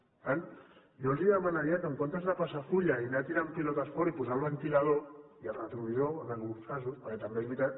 per tant jo els demanaria que en lloc de passar full i anar tirant pilotes fora i posar el ventilador i el retrovisor en alguns casos perquè també és veritat